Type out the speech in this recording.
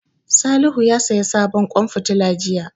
Salihu ya saya sabon ƙwan fitila jiya